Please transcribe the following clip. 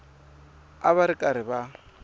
a va ri karhi va